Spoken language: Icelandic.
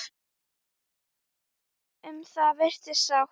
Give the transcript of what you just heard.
Um það virðist sátt.